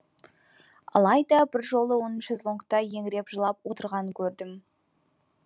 алайда бір жолы оның шезлонгта еңіреп жылап отырғанын көрдім